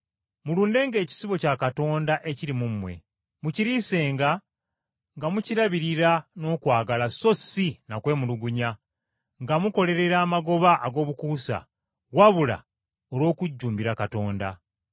Mulundenga ekisibo kya Katonda ekiri mu mmwe, mukiriisenga nga mukirabirira n’okwagala so si na kwemulugunya, nga mukolerera amagoba ag’obukuusa wabula olw’okujjumbira Katonda.